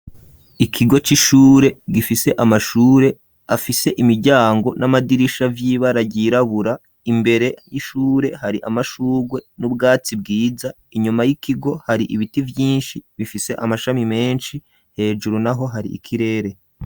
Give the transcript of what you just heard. Ikigo c'ishure, gifise amashure, afise imiryango n'amadirisha, vy’ibara ryirabura; imbere y'ishure, hari amashurwe, n'ubwatsi bwiza; inyuma y'ikigo, hari ibiti vyinshi, bifise amashami menshi; hejuru naho, hari ikirere.